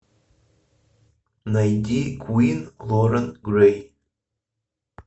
найди квин лорен грэй